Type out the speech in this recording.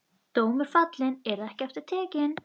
Dómur fallinn, yrði ekki aftur tekinn.